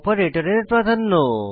অপারেটরের প্রাধান্য